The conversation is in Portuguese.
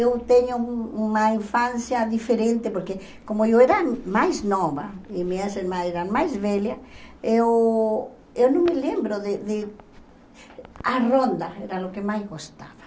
Eu tenho um uma infância diferente, porque como eu era mais nova e minhas irmãs eram mais velhas, eu eu não me lembro de de... A ronda era o que mais gostava.